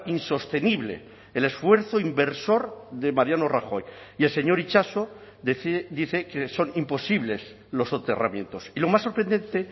insostenible el esfuerzo inversor de mariano rajoy y el señor itxaso dice que son imposibles los soterramientos y lo más sorprendente